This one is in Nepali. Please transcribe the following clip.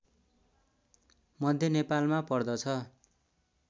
मध्य नेपालमा पर्दछ